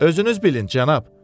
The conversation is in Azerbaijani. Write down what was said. Özünüz bilin, cənab.